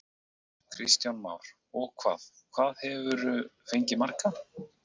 Kristján Már: Og hvað, hvað hefurðu fengið marga?